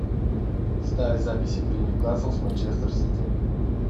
ставь запись игры ньюкасл с манчестер сити